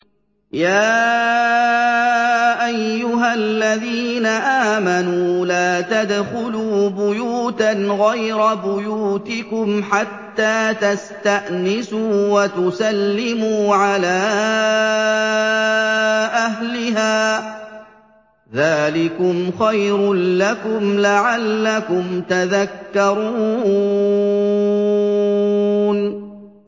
يَا أَيُّهَا الَّذِينَ آمَنُوا لَا تَدْخُلُوا بُيُوتًا غَيْرَ بُيُوتِكُمْ حَتَّىٰ تَسْتَأْنِسُوا وَتُسَلِّمُوا عَلَىٰ أَهْلِهَا ۚ ذَٰلِكُمْ خَيْرٌ لَّكُمْ لَعَلَّكُمْ تَذَكَّرُونَ